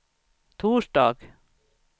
torsdag